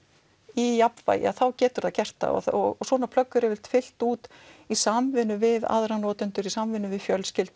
í jafnvægi þá getur það gert það og svona plögg eru yfirleitt fyllt út í samvinnu við aðra notendur í samvinnu við fjölskyldu